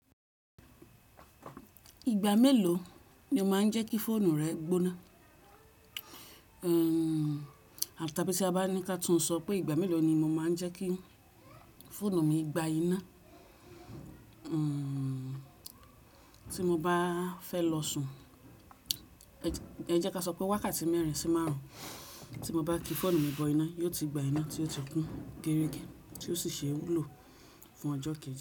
Ìgbà mélòó ni o máa ń jẹ́kí fóònù rẹ gbóná? Abi tí a bá ní ki a túń sọ pé ìgbà mélòó ni mo máa ń jẹ́kí fóònù mi gba iná tí mo bá fẹ́ lọ sùn. Ẹ jẹ́ ká sọ pé wákàtí mẹ́rin sí márùn-ún tí mo bá ki fóònù mi bọ iná, yóò ti gba iná tí yóò tún geregẹ́ tí ó sì ṣe lò fún ọjọ́ kẹ̀ẹ̀ji.